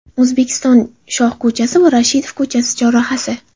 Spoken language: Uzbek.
O‘zbekiston shoh ko‘chasi va Rashidov ko‘chasi chorrahasi.